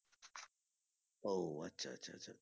ও আচ্ছা আচ্ছা আচ্ছা